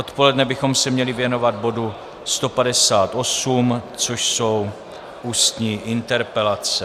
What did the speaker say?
Odpoledne bychom se měli věnovat bodu 158, což jsou ústní interpelace.